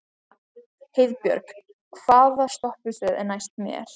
Heiðbjörg, hvaða stoppistöð er næst mér?